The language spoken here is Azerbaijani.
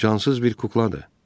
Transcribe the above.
O cansız bir kukladır.